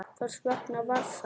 Hvers vegna var það?